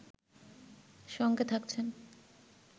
সঙ্গে থাকছেন